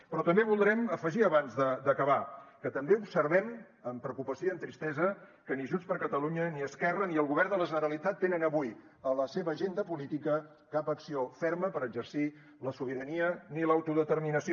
però també voldrem afegir abans d’acabar que també observem amb preocupació i amb tristesa que ni junts per catalunya ni esquerra ni el govern de la generalitat tenen avui a la seva agenda política cap acció ferma per exercir la sobirania ni l’autodeterminació